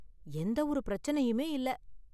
எந்தவொரு பிரச்சனையுமே இல்ல.